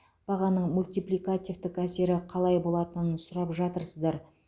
бағаның мультипликативтік әсері қалай болатынын сұрап жатырсыздар